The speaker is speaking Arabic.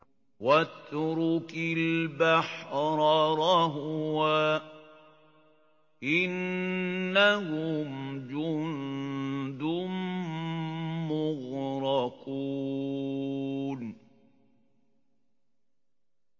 وَاتْرُكِ الْبَحْرَ رَهْوًا ۖ إِنَّهُمْ جُندٌ مُّغْرَقُونَ